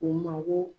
U mago